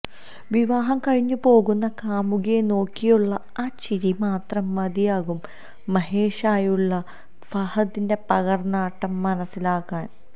വിവാഹം കഴിഞ്ഞുപോകുന്ന കാമുകിയെ നോക്കിയുള്ള ആ ചിരി മാത്രം മതിയാകും മഹേഷായുള്ള ഫഹദിന്റെ പകര്ന്നാട്ടം മനസ്സിലാകാന്